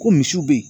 Ko misiw be yen